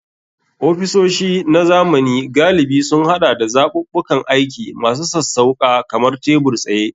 Ofisoshi na zamani galibi sun haɗa da zaɓuɓɓukan aiki masu sassauƙa kamar tebur-tsaye.